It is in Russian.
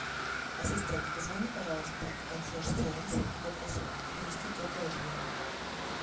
ассистент позвони пожалуйста в консьерж сервис и попроси принести теплое одеяло